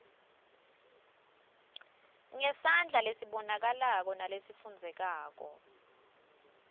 ngesandla lesibonakalako nalesifundzekako